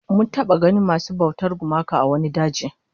Mun taba ganin masu bautar gumaka a wani daji